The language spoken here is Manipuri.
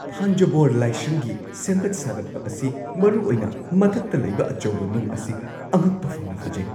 ꯊꯥꯟꯖꯥꯕꯨꯔ ꯂꯥꯏꯁꯪꯒꯤ ꯁꯦꯝꯒꯠ-ꯁꯥꯒꯠꯄ ꯑꯁꯤ, ꯃꯔꯨꯑꯣꯏꯅ ꯃꯊꯛꯇ ꯂꯩꯕ ꯑꯆꯧꯕ ꯅꯨꯡ ꯑꯁꯤ, ꯑꯉꯛꯄ ꯐꯪꯅ ꯐꯖꯩ꯫